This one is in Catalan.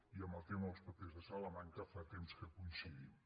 i en el tema dels papers de salamanca fa temps que coincidim